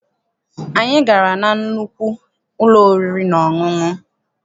Anyị gara na nnukwu ụlọ oriri na ọṅụṅụ.